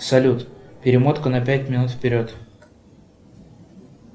салют перемотка на пять минут вперед